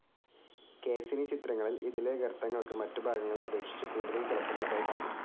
Cassini ചിത്രങ്ങളിൽ ഇതിലെ ഗർത്തങ്ങൾക്ക് മറ്റുഭാഗങ്ങളെ അപേക്ഷിച്ച് കൂടുതൽ തിളക്കമുള്ളതായി കണ്ടു.